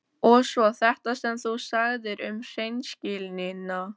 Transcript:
Og svo þetta sem þú sagðir um hreinskilnina.